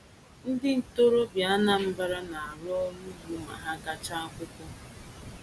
Ndị ntorobịa Anambra na-arụ ọrụ ugbo ma ha gachaa akwụkwọ.